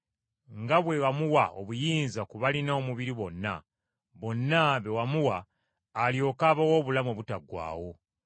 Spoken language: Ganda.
nga bwe wamuwa obuyinza ku balina omubiri bonna, bonna be wamuwa alyoke abawe obulamu obutaggwaawo.